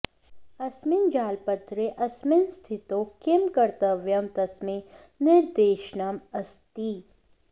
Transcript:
अस्मिन् जालपत्रे अस्मिन् स्थितौ किं कर्तव्यं तस्मै निर्देशनम् अस्ति